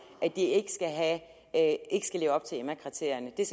det at ikke skal leve op til emma kriterierne det er